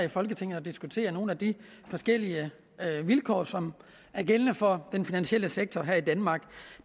i folketinget at diskutere nogle af de forskellige vilkår som er gældende for den finansielle sektor her i danmark